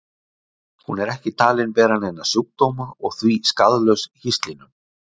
Hún er ekki talin bera neina sjúkdóma og er því skaðlaus hýslinum.